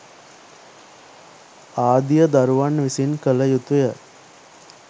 ආදිය දරුවන් විසින් කළ යුතුය.